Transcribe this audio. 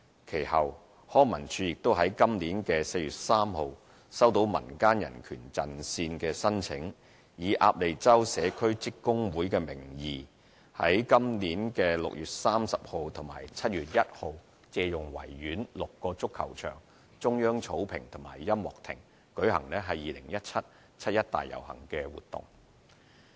其後，康文署於本年4月3日收到民間人權陣線的申請，以"鴨脷洲社區職工會"名義，於本年6月30日及7月1日借用維園6個足球場、中央草坪及音樂亭，舉行 "2017 七一大遊行"活動。